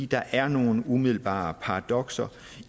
der er nogle umiddelbare paradokser